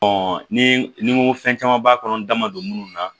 ni ni n ko fɛn caman b'a kɔnɔ n da ma don minnu na